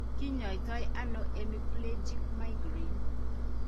Kiny'aaytanano hemiplegic migraine?